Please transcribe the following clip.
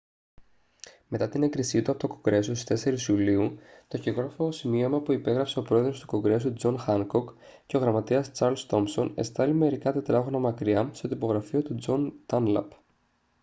μετά την έγκριση του από το κογκρέσο στις 4 ιουλίου το χειρόγραφο σημείωμα που υπέγραψαν ο πρόεδρος του κογκρέσου τζον χάνκοκ και ο γραμματέας τσαρλς τόμσον εστάλη μερικά τετράγωνα μακριά στο τυπογραφείο του τζον ντάνλαπ